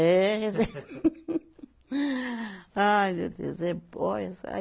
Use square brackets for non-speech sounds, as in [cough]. É rece. [laughs] Ai meu Deus, eh, olha